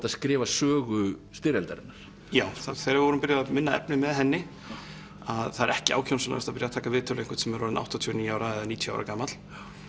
að skrifa sögu styrjaldarinnar já þegar við vorum byrjuð að vinna efnið með henni að það er ekki ákjósanlegast að byrja að taka viðtal við einhvern sem er orðinn áttatíu og níu ára eða níutíu ára gamall